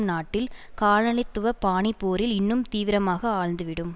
நாட்டில் காலனித்துவ பாணி போரில் இன்னும் தீவிரமாக ஆழ்ந்துவிடும்